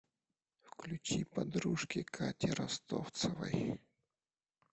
включи подружки кати ростовцевой